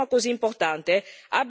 Non possiamo più aspettare.